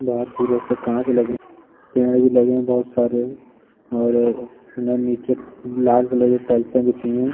पेड़ भी लगे हैं बहोत सारे और नन्ही चि लाल कलर की टाइल्सें बिछी हैं।